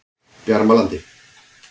Bjarmalandi